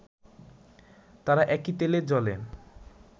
তারাও একই তেলে-জলে